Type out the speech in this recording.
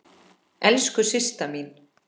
Elsku Systa mín.